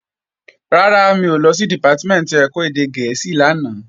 Rárá, mi ò lọ sí Dìpátímẹ̀ntì ẹ̀kọ́ èdè gẹ̀ẹ́sì lánàá